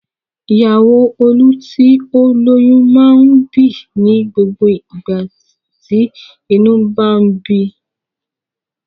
Ìyàwó Olú tí ó lóyún máa ń bì ní gbogbo ìgbà tí inú bá ń bi.